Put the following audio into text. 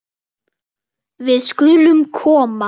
Við skulum koma